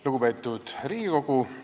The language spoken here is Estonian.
Lugupeetud Riigikogu!